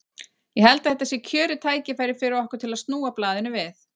Ég held að þetta sé kjörið tækifæri fyrir okkur til að snúa blaðinu við.